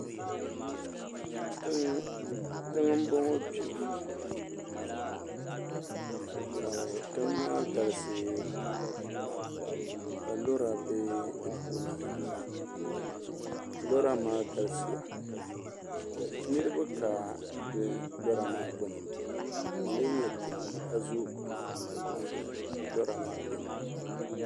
Tiŋ n bɔŋɔ kpɛ ka tiŋ maa galisi pam ka lora bɛ di puuni pam lora maa galisiya niraba ka lora maa gbuni ka di lee nyɛ tiŋa ka zo lora maa biɛni